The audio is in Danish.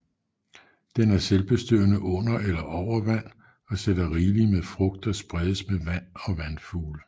Den er selvbestøvende under eller over vand og sætter rigeligt med frugt der spredes med vand og vandfugle